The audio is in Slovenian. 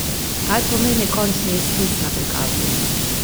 Kaj pomeni končni izpis na prikazu?